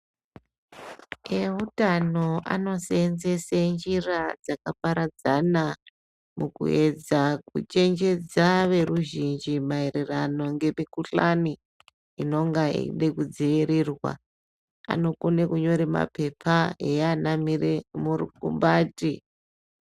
Eutano anoseenzese njira dzakaparadzana mukuedza kuchenjedza veruzvinji maererano ngemikhuhlani, inonga yeide kudziirirwa. Anokone kunyore maphepha eianamire murukumbati.